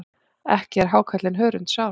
Ekki er hákarlinn hörundsár.